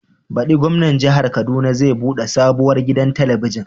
Baɗi Gwamnan Jihar Kaduna zai buɗe sabuwar gidan telibijin.